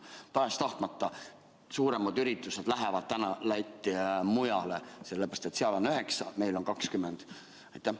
Tahes-tahtmata lähevad suuremad üritused praegu Lätti ja mujale, sellepärast et seal on 9%, aga meil on 20%.